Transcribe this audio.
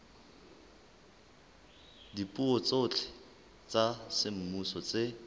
dipuo tsohle tsa semmuso tse